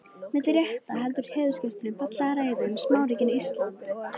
Milli rétta heldur heiðursgesturinn fallega ræðu um smáríkin Ísland og